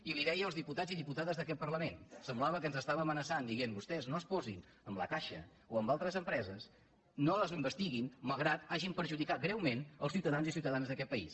i ho deia als diputats i diputades d’aquest parlament semblava que ens estava amenaçant dient vostès no es posin amb la caixa o amb altres empreses no les investiguin malgrat que hagin perjudicat greument els ciutadans i ciutadanes d’aquest país